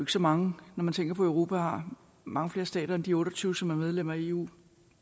så mange når man tænker på at europa har mange flere stater end de otte og tyve som er medlem af eu